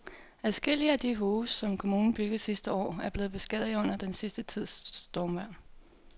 Adskillige af de huse, som kommunen byggede sidste år, er blevet beskadiget under den sidste tids stormvejr.